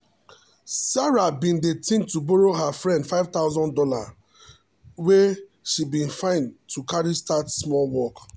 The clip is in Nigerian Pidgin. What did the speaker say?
sarah bin dey think to borrow her friend five thousand dollars wey she been find to carry start small work.